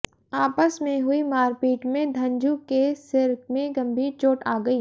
आपस में हुई मारपीट में धंजू के सिर मे गंभीर चोट आ गई